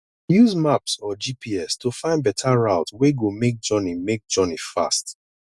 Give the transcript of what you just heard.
use map or gps to find better route wey go make journey make journey fast